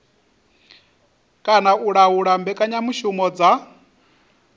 kana u laula mbekanyamushumo dza